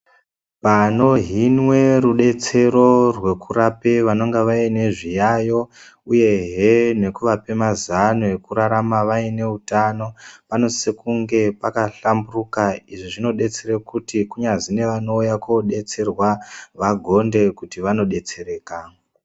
Panohinwa rubatsiro pane vanenge vane zviyaiyo uyehe nekuvape mazano ekurarama vaine utano, panosise kunge pakahlamburuka. Izvi zvinodetsera kuti kunyazi nevanouya kodetserwa vagonde kuti vanodetsereka.